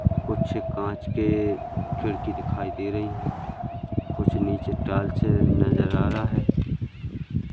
कुछ कांच के खिड़की दिखाई दे रहे है कुछ नीचे टाइल्स नजर आ रहा है।